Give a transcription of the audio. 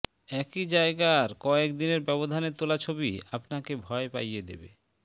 একই জায়গার কয়েক দিনের ব্যবধানে তোলা ছবি আপনাকে ভয় পাইয়ে দেবে